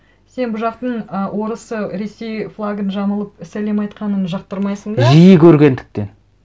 сен бұл жақтың ы орысы ресей флагын жамылып сәлем айтқанын жақтырмайсың да жиі көргендіктен